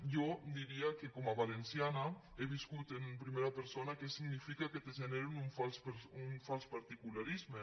jo diria que com a valenciana he viscut en primera persona què significa que te generin un fals particularisme